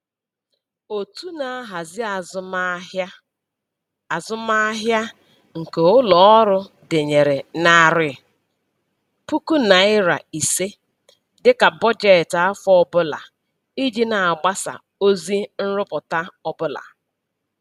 Otu na-ahazi azụmahịa azụmahịa nke ụlọ ọrụ denyere narị puku naịra ise dịka bọjetị afọ ọbụla iji na-agbasa ozi nrụpụta ọbụla